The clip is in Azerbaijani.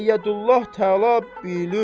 Əyyədullah təala bi lütf.